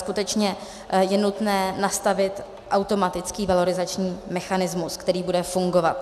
Skutečně je nutné nastavit automatický valorizační mechanismus, který bude fungovat.